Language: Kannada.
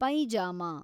ಪೈಜಾಮಾ